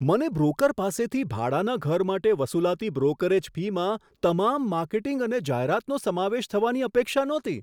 મને બ્રોકર પાસેથી ભાડાના ઘર માટે વસૂલાતી બ્રોકરેજ ફીમાં તમામ માર્કેટિંગ અને જાહેરાતનો સમાવેશ થવાની અપેક્ષા નહોતી.